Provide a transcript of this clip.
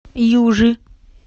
южи